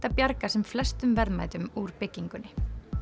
að bjarga sem flestum verðmætum úr byggingunni